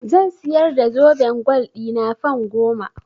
Zan siyar da zoben gwal ɗina fan goma.